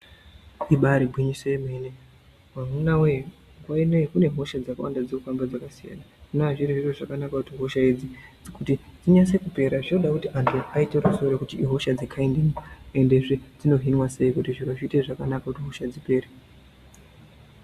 Ibaari gwinyiso remene amunawee nguwa ineyi kune hosha dzakawanda dzinofamba dzakasiyana zvinova zviri zvakanaka kuti hosha idzi kuti dzinase kupera zvinoda kuti antu aise musoro pamwechete kuona kuti hosha idzi dzekhaindinyi endezve dzinohinwa sei kuti hosha dzipere.